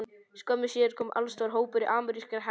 Skömmu síðar kom allstór hópur amerískra hermanna að